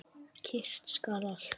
Kyrrt skal allt.